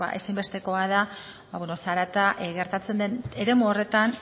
ezinbestekoa dela zarata gertatzen den eremu horretan